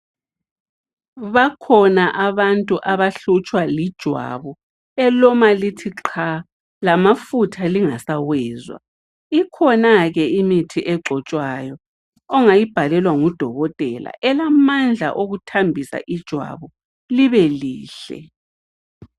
Bakhona abantu abahlutshwa lijwabu elima lithi qha, lamafutha lingasawezwa. Ikhonake imithi egcotshwayo ,ongayibhalelwa ngudokotela elamandla okuthambisa ijwabu libe lihle.